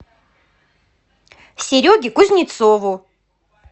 сереге кузнецову